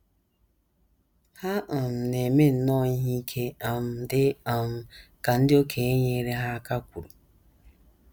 Ha um na - eme nnọọ ihe ike, um dị um ka ndị okenye nyeere ha aka kwuru.